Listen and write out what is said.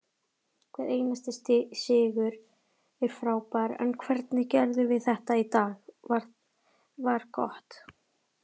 Hver einasti sigur er frábær en hvernig við gerðum þetta í dag var gott.